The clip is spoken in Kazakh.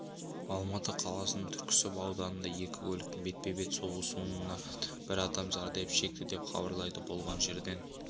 алматы қаласының түркісіб ауданында екі көліктің бетпе-бет соқтығысуынан бір адам зардап шекті деп хабарлайды болған жерден